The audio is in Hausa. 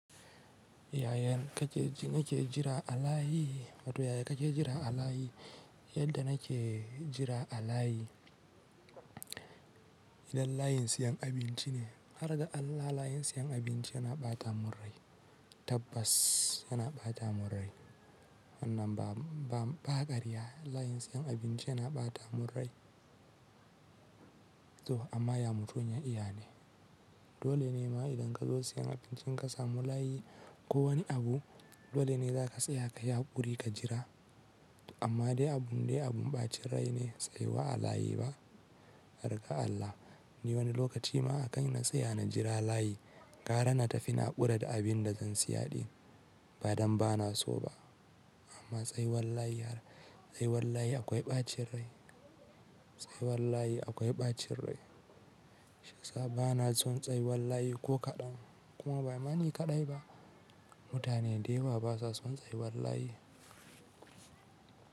Yayan ka ke jira a layi, matu yaya ka ke jira a layi? Yadda na ke jira a layi, idan layin siyan abinci ne, harga Allah layin siyan abinci yana ɓata murrai. Tabbas yana ɓata murrai. Wanna ba ƙarya, layin siyan abinci yana ɓata murrai. To amma ya mutu ya iya ne. Dole ne ma idan ka zo siyan abincin ka samu layi ko wani abu, dole ne za ka tsaya ka yi haƙuri ka jira. Amma dai abun dai abun ɓacin rai ne tsayuwa a layi ba? Harga Allah, ni wani lokaci ma a kan na tsaya na jira layi, ƙara na tafi na ƙura da abin da zan siya ɗin. Ba don ba na so ba. Amma tsayuwar layi har, tsayuwar layi akwai ɓacin rai. Tsayuwar layi akwai ɓacin rai. Shiyasa ba na son tsayuwar layi ko kaɗan. Kuma bai ma ni kaɗai ba. Mutane da yawa basa son tsayuwar layi.